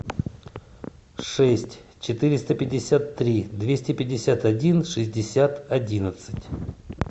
шесть четыреста пятьдесят три двести пятьдесят один шестьдесят одиннадцать